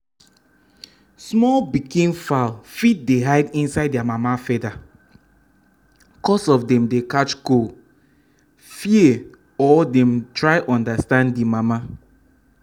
small pikin fowl fit dey hide inside their mama feather cos of dem dey catch cold fear or dem try understand the mama